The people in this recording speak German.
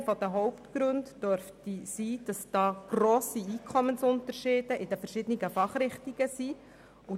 Einer der Hauptgründe dafür dürfte darin liegen, dass grosse Einkommensunterschiede in den verschiedenen Fachrichtungen bestehen.